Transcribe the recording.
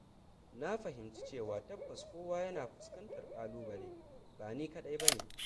Na fahimci cewa tabbas kowa yana fuskantar ƙalubale, ba ni kaɗai bane.